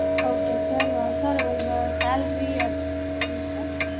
okay sir sir உங்க salary அது சொல்லுங்க sir